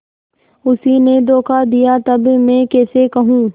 उसी ने धोखा दिया तब मैं कैसे कहूँ